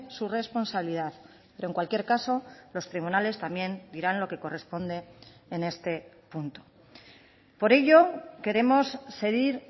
su responsabilidad pero en cualquier caso los tribunales también dirán lo que corresponde en este punto por ello queremos seguir